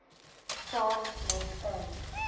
saam met ons